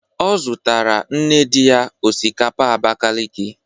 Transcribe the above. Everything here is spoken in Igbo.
Ọ zutara nne dị ya osikapa Abakaliki.